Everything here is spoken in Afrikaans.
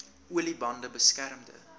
olie bande beskermende